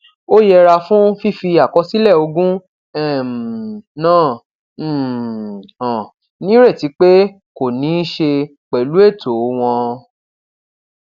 ó yẹra fún fífi àkọsílẹ ogún um náà um hàn nírètí pé kò ní í ṣe pẹlú ètò wọn